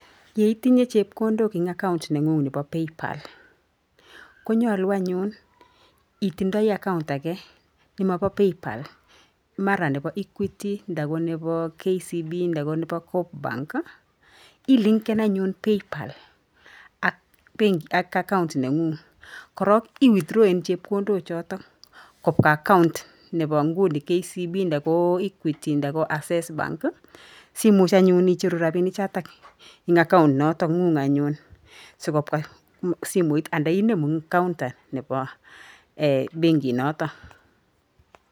Ye itinye chepkoondok eng account neng'ng nebo paypal. Konyaluu anyun itindei account age nemo bo paypal mara nebo equity nda ko nebo KCB nda ko nebo Cop-bank. Ilinken anyun paypal ak account neng'ung' korok i withrawen chepkondok choto kopwa account nebo nguni KCB nda equity nda ko access bank. Simuch anyun icheru robini choto eng account noto ng'ung anyun si kopwa simooit anan inemu eng counter nebo benkitnoto.